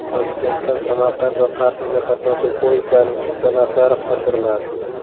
Toshkentdan Samarqand va Qarshiga qatnovchi poyezdlarning chipta narxlari oshiriladi.